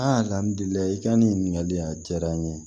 i ka nin ɲininkali in a diyara n ye